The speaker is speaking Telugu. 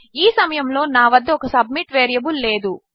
ఈసమయములోనావద్దఒక సబ్మిట్ వేరియబుల్లేదు